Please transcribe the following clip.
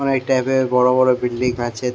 Tab এর বড়ো বড়ো বিল্ডিং আছে ।